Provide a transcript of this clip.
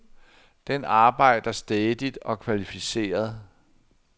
Den arbejder stædigt og kvalificeret.